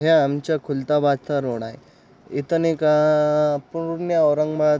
या आमच्या खुलताबादचा रोड आहे इथून एक पूर्ण औरंगबाद --